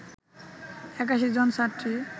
৮১ জন ছাত্রী